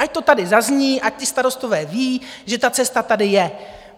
Ať to tady zazní, ať ti starostové vědí, že ta cesta tady je.